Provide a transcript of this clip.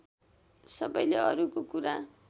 सबैले अरूको कुरा